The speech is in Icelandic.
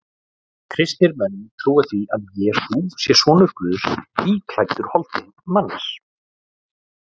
Kristnir menn trúa því að Jesús sé sonur Guðs íklæddur holdi manns.